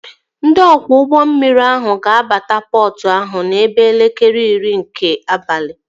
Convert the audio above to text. Ndị ọkwọ ụgbọ mmiri ahụ ga-abata pọtụ ahụ n'ebe elekere iri nke abalị